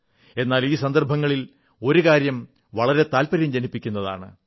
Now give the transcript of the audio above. എന്നാൽ ഈ സന്ദർഭത്തിൽ ഒരു കാര്യം വളരെ താത്പര്യം ജനിപ്പിക്കുന്നതാണ്